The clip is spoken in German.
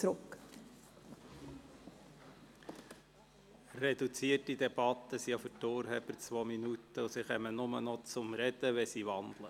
Wir führen eine reduzierte Debatte, es gelten auch für die Urheber der Vorstösse zwei Minuten, und sie kommen nur noch zum Reden, wenn sie wandeln.